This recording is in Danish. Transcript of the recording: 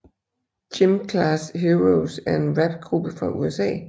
Gym Class Heroes er en rapgruppe fra USA